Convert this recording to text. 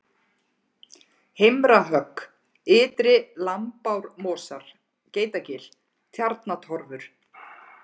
Heimrahögg, Ytri-Lambármosar, Geitagil, Tjarnatorfur